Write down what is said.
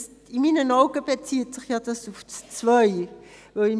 In meinen Augen bezieht sich dieser auf den Punkt 2.